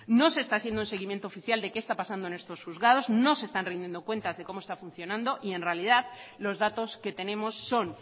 no se está haciendo un seguimiento oficial de qué está pasando en estos juzgados no se está rindiendo cuentas de cómo se está funcionando y en realidad los datos que tenemos son